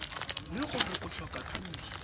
le gore o tlhoka thuso